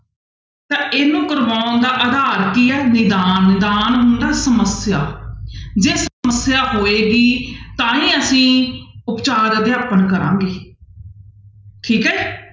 ਤਾਂ ਇਹਨੂੰ ਕਰਵਾਉਣ ਦਾ ਆਧਾਰ ਕੀ ਹੈ ਨਿਧਾਨ ਨਿਧਾਨ ਹੁੰਦਾ ਸਮੱਸਿਆ ਜੇ ਸਮੱਸਿਆ ਹੋਏਗੀ ਤਾਂ ਹੀ ਅਸੀਂ ਉਪਚਾਰ ਅਧਿਆਪਨ ਕਰਾਂਗੇ ਠੀਕ ਹੈ